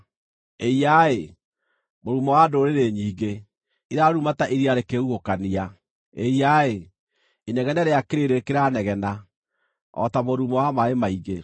Ĩiya-ĩ, mũrurumo wa ndũrĩrĩ nyingĩ, iraruruma ta iria rĩkĩhuhũkania! Ĩiya-ĩ, inegene rĩa kĩrĩndĩ kĩranegena, o ta mũrurumo wa maaĩ maingĩ.